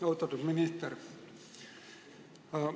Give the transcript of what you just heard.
Austatud minister!